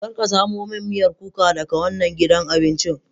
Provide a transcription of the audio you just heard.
Kar ka samo min miyar kuka daga wannan gidan abincin.